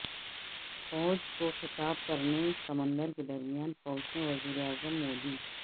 فوج کو خطاب کرنے سمندر کے درمیان پہنچے وزیر اعظم مودی